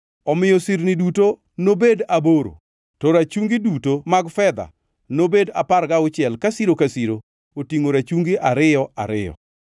Omiyo sirni duto nobed aboro, to rachungi duto mag fedha nobed apar gauchiel ka siro ka siro otingʼo rachungi ariyo ariyo.